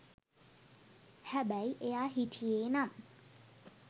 හැබැයි එයා හිටියේ නම්